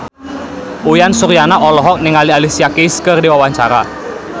Uyan Suryana olohok ningali Alicia Keys keur diwawancara